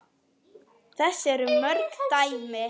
Þess eru mörg dæmi.